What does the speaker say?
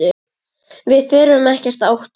Við þurfum ekkert að óttast!